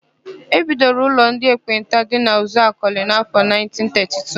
E bidoro ụlọ ndị ekpenta dị na Uzuakọlị n'áfọ̀ 1932.